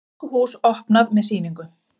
Tískuhús opnað með sýningu